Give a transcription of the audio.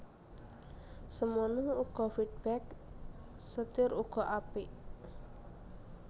Semono uga feedback setir uga apik